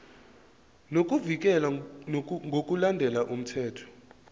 nokuvikelwa ngokulandela umthetho